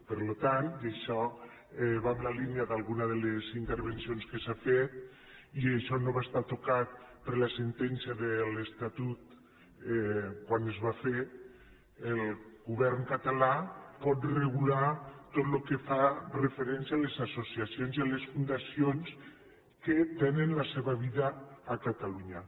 per tant i això va en la línia d’alguna de les intervencions que s’han fet i això no va estar tocat per la sentència de l’estatut quan es va fer el govern català pot regular tot el que fa referència a les associacions i a les fundacions que tenen la seva vida a catalunya